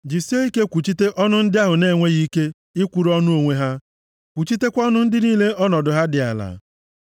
Jisie ike kwuchite ọnụ ndị ahụ na-enweghị ike ikwuru ọnụ onwe ha; kwuchitekwa ọnụ ndị niile ọnọdụ ha dị ala.